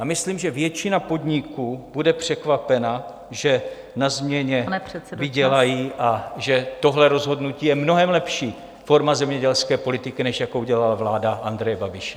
A myslím, že většina podniků bude překvapena, že na změně vydělají, a že tohle rozhodnutí je mnohem lepší forma zemědělské politiky, než jakou dělala vláda Andreje Babiše.